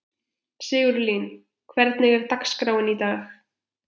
Sigurlín, hvernig er dagskráin í dag?